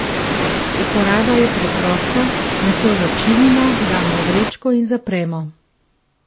Uporaba je preprosta, meso začinimo, damo v vrečko in zapremo.